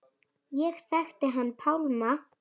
Ég þekkti hann Pálma.